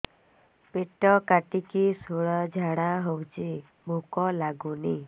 ପେଟ କାଟିକି ଶୂଳା ଝାଡ଼ା ହଉଚି ଭୁକ ଲାଗୁନି